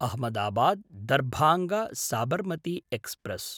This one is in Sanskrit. अहमदाबाद्–दर्भाङ्ग साबर्मति एक्स्प्रेस्